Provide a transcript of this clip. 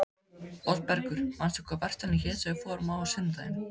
Oddbergur, manstu hvað verslunin hét sem við fórum í á sunnudaginn?